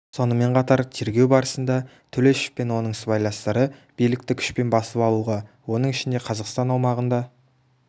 сонымен қатар тергеу барысында төлешов пен оның сыбайластары билікті күшпен басып алуға оның ішінде қазақстан аумағында